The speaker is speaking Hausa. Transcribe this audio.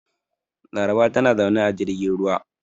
Laraba tana zaune a jirgin ruwa.